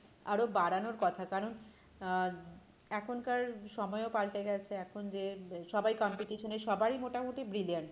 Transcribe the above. আরো বাড়ানোর কথা কারণ আহ এখনকার সময়ও পাল্টে গেছে এখন যে সবাই competition এ সবাই মোটামোটি brilliant